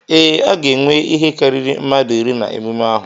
Ee, a ga-enwe ihe karịrị mmadụ iri na emume ahụ.